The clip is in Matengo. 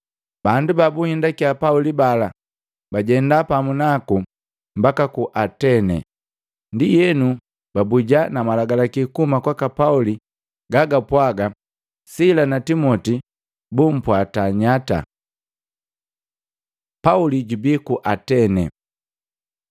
Bandu babuhindakiya Pauli bala bajenda pamu naku mbaka ku Atene. Ndienu, babuja na malagalaki kuhuma kwaka Pauli gagapwaga Sila na Timoti bumpwata nyata. Pauli jubii ku Atene